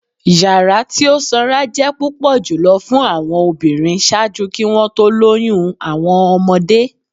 Yara ti o sanra jẹ pupọ julọ fun awọn obinrin ṣaaju ki wọn to loyun awọn ọmọde.